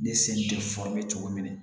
Ni sen tɛ cogo min na